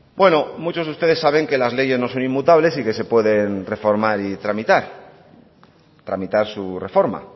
bueno muchos de ustedes saben que las leyes no son inmutables y que se pueden reformar y tramitar tramitar su reforma